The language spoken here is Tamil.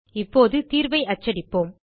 இப்போது தீர்வை அச்சடிப்போம்